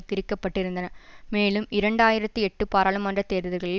திரிக்கப்பட்டிருந்தன மேலும் இரண்டாயிரத்தி எட்டு பாராளுமன்ற தேர்தல்களில்